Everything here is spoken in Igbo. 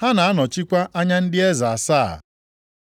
Ha na-anọchikwa anya ndị eze asaa.